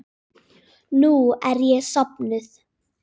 Nú er ég sofnuð.